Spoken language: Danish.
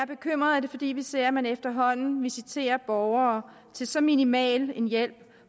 bekymret er det fordi vi ser at man efterhånden visiterer borgere til så minimal en hjælp